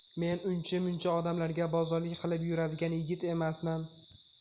Men uncha-muncha odamlarga bozorlik qilib yuradigan yigit emasman.